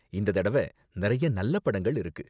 இந்த தடவ நிறைய நல்ல படங்கள் இருக்கு.